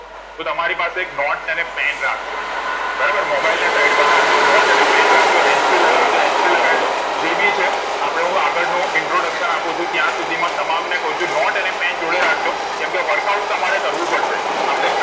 તો તમારી એક પસે નોટે અને pen રાખ જો બરાબર mobile ને side પર રાખ જો નોટે અને pen રાખ જો hands free લગાવી હોય તો hands free લગાવી દો જે ભી છે આપણૉ આગળ નો introduction આપું છું ત્યાં સુધી માં તમામ ને કવ છું નોટે અને pen જોડે રાખ જો કેમ કે workout તમારે કર વું પેડશે આપડે